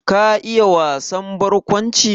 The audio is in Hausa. Ka iya wasan barkwanci?